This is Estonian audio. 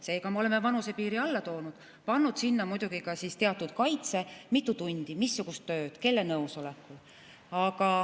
Seega, me oleme vanusepiiri allapoole toonud, pannud sinna muidugi ka teatud kaitse: kui mitu tundi, missugust tööd, kelle nõusolekul.